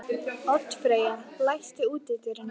Oddfreyja, læstu útidyrunum.